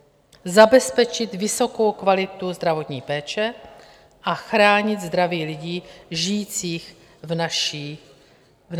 - zabezpečit vysokou kvalitu zdravotní péče a chránit zdraví lidí žijících v naší zemi.